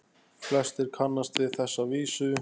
Flestir kannast við þessa vísu